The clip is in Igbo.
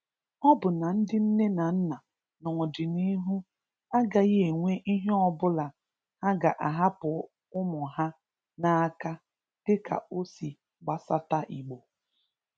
Ọ bụ na ndị nne na nna n’ọdịniihu, agaghị enwe ihe ọ bụla ha ga-ahapụ ụmụ ha n’aka dịka ọ si gbasata Igbo.